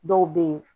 Dɔw bɛ yen